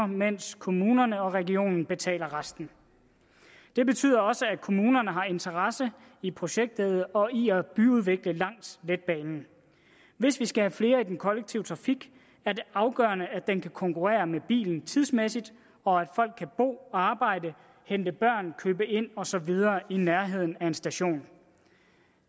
mens kommunerne og regionen betaler resten det betyder også at kommunerne har interesse i projektet og i at byudvikle langs banen hvis vi skal have flere over i den kollektive trafik er det afgørende at den kan konkurrere med bilen tidsmæssigt og at folk kan bo arbejde hente børn købe ind og så videre i nærheden af en station